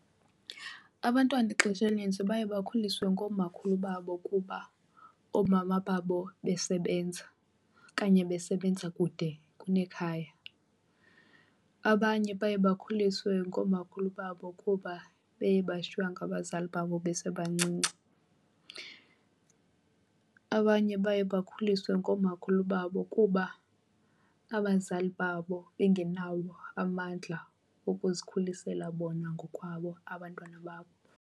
Abantwana ixesha elinintsi baye bakhuliswe ngoomakhulu babo kuba oomama babo besebenza okanye besebenza kude kunekhaya. Abanye baye bakhuliswe ngoomakhulu babo kuba beye bashiywa ngabazali babo besebancinci. Abanye baye bakhuliswe ngoomakhulu babo kuba abazali babo bengenawo amandla okuzikhulisela bona ngokwabo abantwana babo.